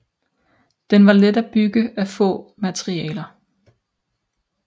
Den var let at bygge af få materialer